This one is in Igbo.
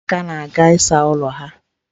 Ụmụaka na-aga ịsa ọnụ ha.